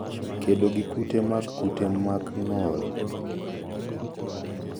Kedo gi kute mag kute mag ng'ol, le makelo hinyruok kod le mamonjo